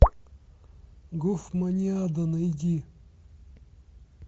гофманиада найди